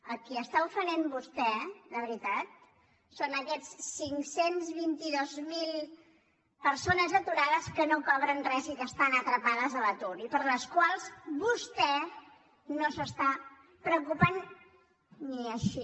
a qui està ofenent vostè de veritat és a aquestes cinc cents i vint dos mil persones aturades que no cobren res i que estan atrapades a l’atur i per les quals vostè no s’està preocupant ni així